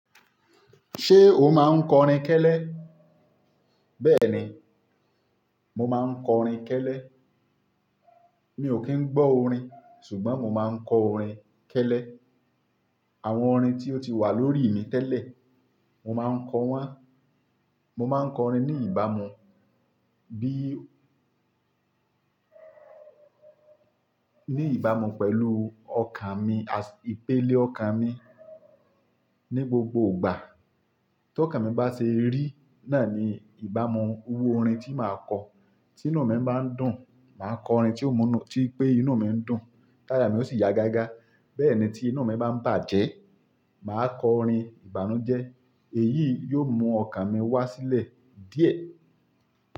Ṣé o máa ń kọrin kẹ́lẹ́? Bẹ́ẹ̀ni, mo máa ń kọrin kẹ́lẹ́. Mi ò kí ń gbọ́ orin ṣùgbọ́n mo máa ń kọ orin kẹ́lẹ́. Àwọn orin tí ó ti wà lórí mi tẹ́lẹ̀, mo máa ń kọ wọ́n. Mo máa ń kọ orin ní ìbámu bí-- ní ìbámu pẹ̀lú ọkàn mi, ìpele ọkàn mi ní gbogbo ìgbà. Tí ọkàn mi bá ṣe rí, náà ni ìbámu iru orin tí màá kọ. Tí inú mi bá ń dùn, màá kọ orin tí ó múnú, tí pé inú mi ń dùn. Táyà mi ó sì yá gágá. Bẹ́ẹ̀ ni tí inú mi bá ń bàjẹ́, màá kọ orin ìbànújẹ́. Èyí yóò mú ọkàn mi wá sílẹ̀ díẹ̀.